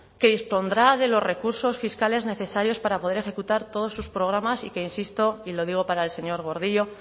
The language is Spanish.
que dispondrá de los recursos fiscales necesarios para poder ejecutar todos sus programas y que insisto y lo digo para el señor gordillo